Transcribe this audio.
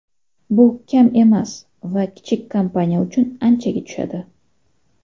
Bu kam emas va kichik kompaniya uchun anchaga tushadi.